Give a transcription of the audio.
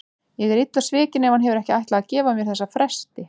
Ég er illa svikin ef hann hefur ekki ætlað að gefa mér þessa festi.